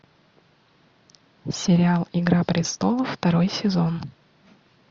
сериал игра престолов второй сезон